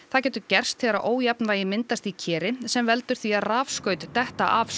það getur gerst þegar ójafnvægi myndast í keri sem veldur því að rafskaut detta af